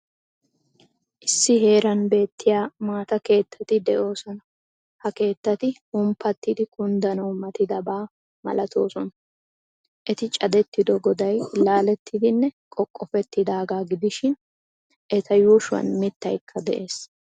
Issi heeran beettiya maata keettati de'oosona. Ha keettati humppattidi kunddanawu matidaba malatoosona. Eti cadettido goday laalettidinne qoqqofettidaaga gidishin, eta yuushuwan mittaykka de'ees.